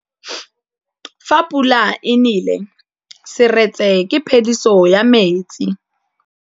Fa pula e nelê serêtsê ke phêdisô ya metsi.